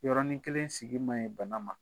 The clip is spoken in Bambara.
Yɔrɔɔrɔnin kelen sigi ma ye bana ma.